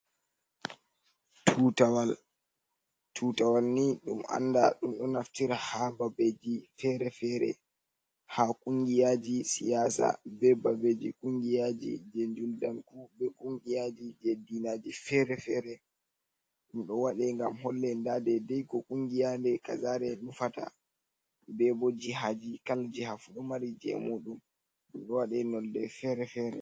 Tutawal, tutawal ni ɗum anda ɗum ɗo naftira ha babbeji fere-fere, ha kungiyaji siyasa be babbeji kungiyaji, je juldanku be kungiyaji je dinaji fere-fere, ɗum ɗo waɗe ngam holle nda deidei ko kungiyaji kazare nufata, bebo jihaji, kala jiha fu ɗon mari je mudum ɗum ɗo waɗe nonnde fere-fere.